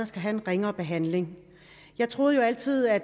skal have en ringere behandling jeg troede jo altid at